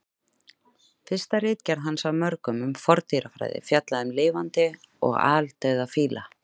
Fyrsta ritgerð hans af mörgum um forndýrafræði fjallaði um lifandi og aldauða fíla.